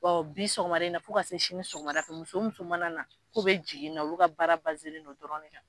bi sɔkɔmada in na fo ka se sini sɔkɔda ma zonw tun mana na kun bɛ jigin yen nɔ, olu ka baara o dɔrɔn ne na.